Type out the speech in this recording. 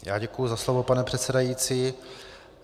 Já děkuji za slovo, pane předsedající.